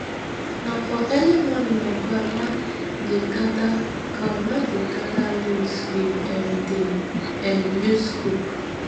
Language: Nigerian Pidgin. na for early morning my grandma dey gather grandma dey gather leaves we um dey um use cook